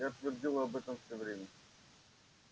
я твердил об этом всё время